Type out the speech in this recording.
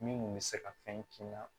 Min kun bɛ se ka fɛn k'i la